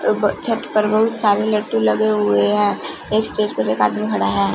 छत पर बहुत सारे लट्टू लगे हुए हैं एक स्टेज पर एक आदमी खड़ा है।